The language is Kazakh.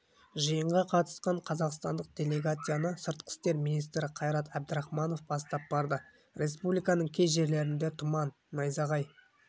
жиынға қатысқан қазақстандық делегацияны сыртқы істер министрі қайрат әбдірахманов бастап барды республиканың кей жерлерінде тұман найзағай